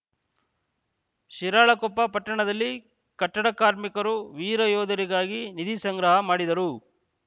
ಶಿರಾಳಕೊಪ್ಪ ಪಟ್ಟಣದಲ್ಲಿ ಕಟ್ಟಡ ಕಾರ್ಮಿಕರು ವೀರಯೋಧರಿಗಾಗಿ ನಿಧಿ ಸಂಗ್ರಹ ಮಾಡಿದರು